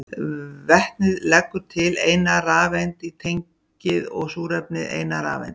Vetnið leggur til eina rafeind í tengið og súrefnið eina rafeind.